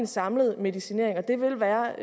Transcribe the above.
samlede medicinering det vil være